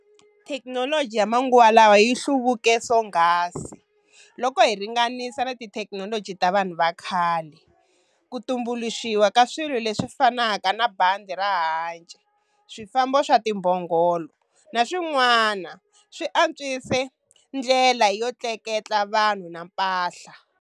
Thekinoloji yamanguva lawa yihluvuke swonghasi loko hi ringanisa na tithekinoloji ta vanhu vakhale. Kutumbuluxiwa ka swilo leswi fanaka na bandhi ra hanci, swifambo swa timbongolo naswin'wana swi antswise ndlela yotleketla vanhu na mpahla.